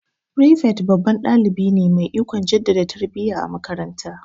Firifet babban dalibi ne mai ikon jaddada tarbiya a makaranta.